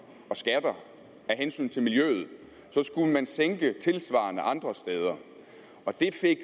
og skatter af hensyn til miljøet skulle man sænke tilsvarende andre steder og